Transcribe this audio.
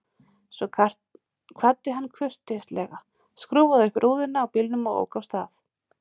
Svo kvaddi hann kurteislega, skrúfaði upp rúðuna á bílnum og ók af stað.